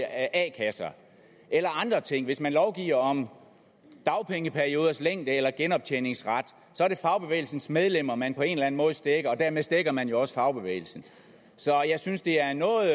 a kasser eller andre ting hvis man lovgiver om dagpengeperioders længde eller genoptjeningsret så er det fagbevægelsens medlemmer man på en måde stækker og dermed stækker man jo også fagbevægelsen så jeg synes det er en noget